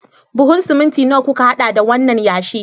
Buhun siminti nawa kuka hada da wannan yashi?